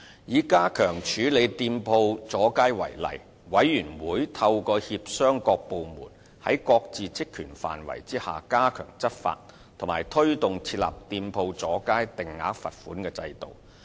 以加強處理店鋪阻街為例，委員會透過協商各部門在各自職權範圍內加強執法，以及推動設立店鋪阻街定額罰款制度。